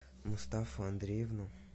мустафу андреевну